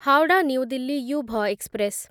Howrah New Delhi Yuva express